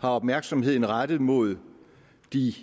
har opmærksomheden rettet mod de